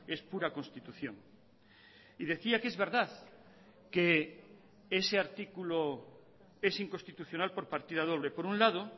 es pura constitución y decía que es verdad que ese artículo es inconstitucional por partida doble por un lado